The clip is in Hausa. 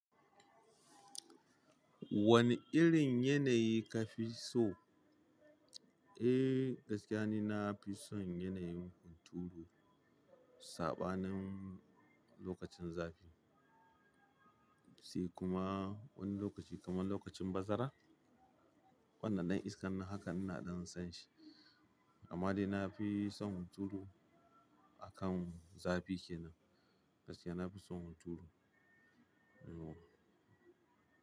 Wane irin yanayi ka fi so? Eh, gaskiya ni na fi son yanayin hunturu. Saɓanin lokacin zafi, sai kuma wani lokaci kamar lokacin bazara. Wannan ɗan iskan a haka ina ɗan son shi. Amma dai na fi son hunturu a kan zafi kenan. Gaskiya na fi son hunturu. Yauwa.